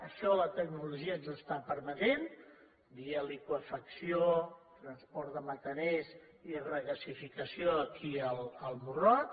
això la tecnologia ens ho està permetent via liqüefacció transport de metaners i regasificació aquí al morrot